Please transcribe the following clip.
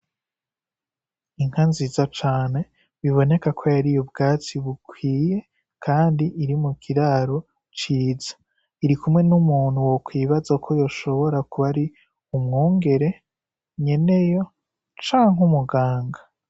Inka nziza cane, biboneka ko yariye ubwatsi bukwiye kandi iri mu kiraro ciza. Iri kumwe n'umuntu wokwibaza ko yoshobora kuba ari n'umwungere, nyeneyo canke umuganga.